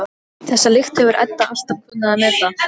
Magdalena, hvernig kemst ég þangað?